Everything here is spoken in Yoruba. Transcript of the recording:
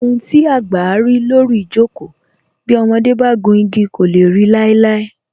Ohun tí àgbà rí lórí ijoko, bí ọmọdé bá gùn igi kò lè ri láíláí